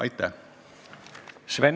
Aitäh!